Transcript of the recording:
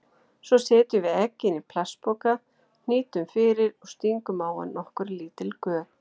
Svo setjum við eggin í plastpoka, hnýtum fyrir og stingum á hann nokkur lítil göt.